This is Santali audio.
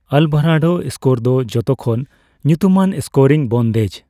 ᱟᱞᱵᱷᱟᱨᱟᱰᱳ ᱥᱠᱳᱨ ᱫᱚ ᱡᱚᱛᱚ ᱠᱷᱚᱱ ᱧᱩᱛᱩᱢᱟᱱ ᱥᱠᱳᱨᱤᱝ ᱵᱚᱱᱫᱷᱮᱡᱽ ᱾